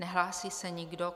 Nehlásí se nikdo.